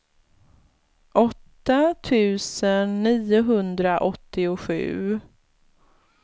åtta tusen niohundraåttiosju